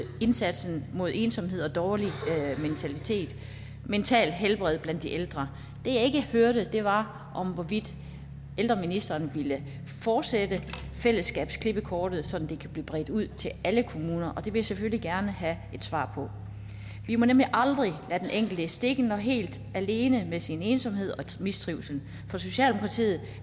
indsatsen mod ensomhed og dårligt mentalt helbred blandt de ældre det jeg ikke hørte var hvorvidt ældreministeren ville fortsætte fællesskabsklippekortet sådan at det kan blive bredt ud til alle kommuner og det vil jeg selvfølgelig gerne have et svar på vi må nemlig aldrig lade den enkelte i stikken og helt alene med sin ensomhed og mistrivsel for socialdemokratiet